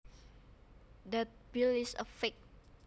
That bill is a fake